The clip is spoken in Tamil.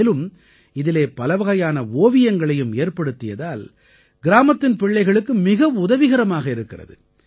மேலும் இதிலே பலவகையான ஓவியங்களையும் ஏற்படுத்தியதால் கிராமத்தின் பிள்ளைகளுக்கு மிக உதவிகரமாக இருக்கிறது